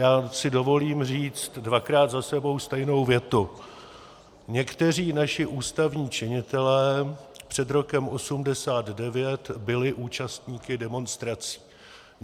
Já si dovolím říct dvakrát za sebou stejnou větu: Někteří naši ústavní činitelé před rokem 1989 byli účastníky demonstrací.